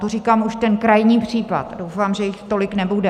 To říkám už ten krajní případ, doufám, že jich tolik nebude.